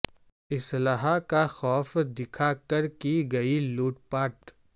اسلحہ کا خوف دکھا کر کی گئی لوٹ پاٹ